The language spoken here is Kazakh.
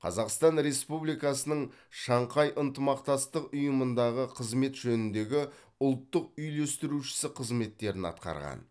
қазақстан республикасының шанхай ынтымақтастық ұйымындағы қызмет жөніндегі ұлттық үйлестірушісі қызметтерін атқарған